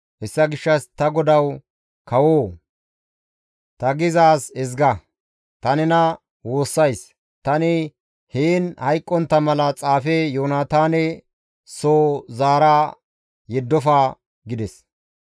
Hessa gishshas ta godawu kawoo! Ta gizaaz ezga! Ta nena woossays. Tani heen hayqqontta mala xaafe Yoonataane soo zaara yeddofa» gides.